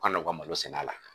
U ka na u ka malo sɛnɛ a la.